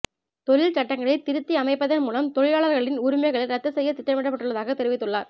தொழில் சட்டங்களை திருத்தி அமைப்பதன் மூலம் தொழிலாளர்களின் உரிமைகளை ரத்து செய்ய திட்டமிடப்பட்டுள்ளதாக தெரிவித்துள்ளார்